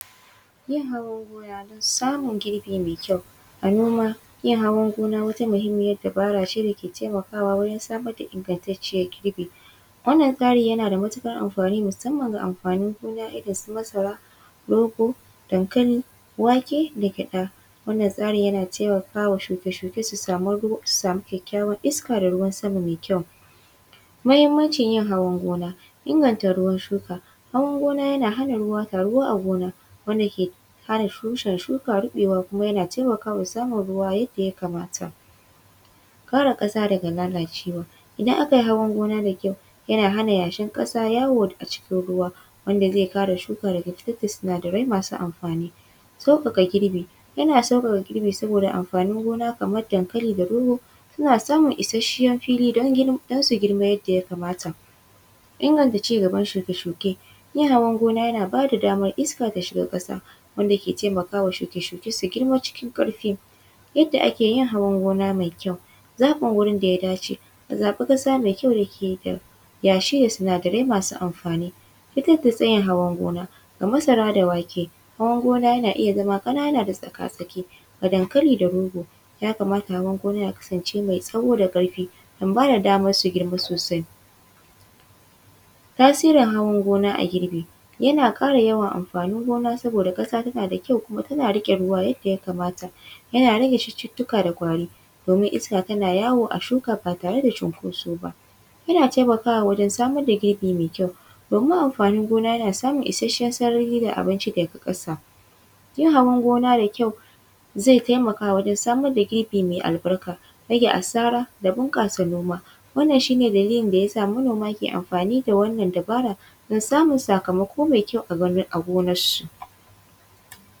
Yin hawan gona domin samun girbi mai ƙyau. A noma yin hawan gona wata muhammiyar dabara ce mai dake taimakawa waje samar da ingantacciyar girbi. Wannan tsari yana da matukar amfani musamman ga amfanin gkna kamar masara rogo dankali, wake da gyaɗa. Wannan tsarin yana taimakawa shuke-shuke su sama ruwa don su sama ƙyaƙƙyawar iska da ruwan sama mai ƙyau. Mahimmancin yin hawan gona, inganta ruwan shuka. Hawan gona na hana ruwa taruwa a gona wanda ke hana tushen shuka rubewa kuma yana taimakawa wajensamun ruwa yadda ya kamata. Kauda kasa daga lalacewa idan aka yi hawan gona da ƙyau yana hana yashin ƙasa yawo a cikin ruwa wanda zai kare shuka daga kashe sinadarai masu amfanin. Sauƙaƙa girbi, yana ssukaka girbi saboda amfanin gona kamar dankali da rogo suna samun isasshiyar fili don su girma yadda ya kamata. Yalwata ci gaban shuke-shuke hawan gona yana da ba damar iska ta shiga ƙasa wanda ke taimaka wa shuke-shuke sai su girma cikin karfi. Yadda ake yin hawan gona mai ƙyau zaben wurin da ya dace a zaba gona mai ƙyau da ke da yashi da sinadarai masu amfani. Fitar da tsayin hawan gona, ga masara da wake hawan gona yana iya zama ƙananako tsaka-tsaki dankali da rogo ya kamata hawan gona ya kasance mai tsawo da karfi, ba ya ba su damar su girma sosai. Tasirin hawan gona a girbi yana kƙara yawan amfani gona saboda kasa tana da ƙyau kuma tana riƙe ruwa yadda ya kamata. Yana rage cututtuka da ƙwari domin iska tana yawo a a cikin shuka da cinkoso. Yana taimakawa wajen samar da yanayi mai ƙyau domin amfanin gona yana samun isasshiyar sarara da abinci daga ƙasa. Yin hawan gona da ƙyau zai taimaka wajen samar da irin mai albarka rage asara da bunƙasa noma. Wannan shi ne dalilin da yasa manoma ke amfani da wannan dabara don samun sakamako mai ƙyau a gonar